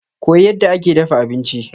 Koyi yadda ake dafa abinci.